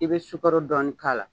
I be sukaro dɔɔni k'a la.